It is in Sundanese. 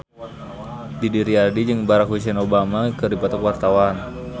Didi Riyadi jeung Barack Hussein Obama keur dipoto ku wartawan